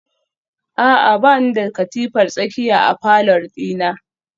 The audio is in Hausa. A'a bani da katifar tsakiya a falor dina